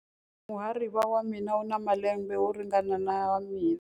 Muhariva wa mina u na malembe yo ringana na ya mina.